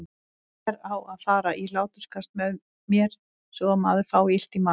Hver á að fara í hláturskast með mér svo maður fái illt í magann?